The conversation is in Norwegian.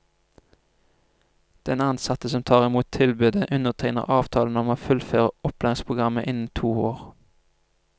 Den ansatte som tar imot tilbudet undertegner avtale om å fullføre opplæringsprogrammene innen to år.